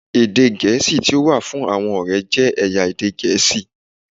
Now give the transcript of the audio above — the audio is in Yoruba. Èdè Gẹ̀ẹ́sì tí ó wà fún àwọn ọ̀rẹ́ jẹ́ ẹ̀yà èdè Gẹ̀ẹ́sì.